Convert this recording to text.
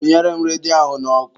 Kwụnyere m redio ahụ n'ọkụ.